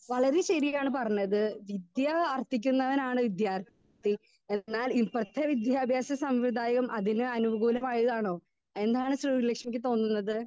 Speaker 2 വളരെ ശരിയാണ് പറഞ്ഞത് വിദ്യ ആർത്ഥിക്കുന്നവനാണ് വിദ്യാർ ത്ഥി എന്നാൽ ഇപ്പത്തെ വിദ്യാഭ്യാസ സമ്യതായം അതിനെ അനുഗുലാമയി ആണോ എന്താണ് ശ്രീ ലക്ഷ്മിക്ക് തോന്നുന്നത്?